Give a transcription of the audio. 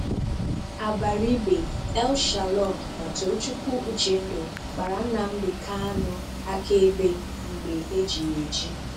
Abaribe, El-Shalom na Tochukwu Uchendụ gbàrà Nnamdi Kànu àkàèbè mgbe eji ya eji.